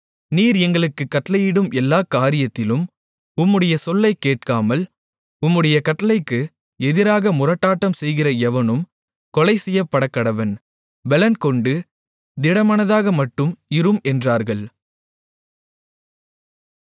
நீர் எங்களுக்குக் கட்டளையிடும் எல்லா காரியத்திலும் உம்முடைய சொல்லைக் கேட்காமல் உம்முடைய கட்டளைக்கு எதிராக முரட்டாட்டம் செய்கிற எவனும் கொலை செய்யப்படக்கடவன் பெலன்கொண்டு திடமனதாக மட்டும் இரும் என்றார்கள்